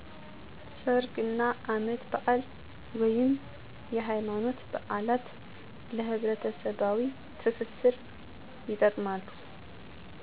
ሠርግ እና አመት ባል/የሀይማኖት በአላት ለህብረተሠባዊ ትስስር ይጠቅማሉ።